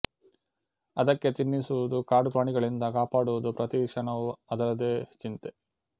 ಅದಕ್ಕೆ ತಿನ್ನಿಸುವುದು ಕಾಡು ಪ್ರಾಣಿಗಳಿಂದ ಕಾಪಾಡುವುದು ಪ್ರತೀ ಕ್ಷಣವೂ ಅದರದೇ ಚಿಂತೆ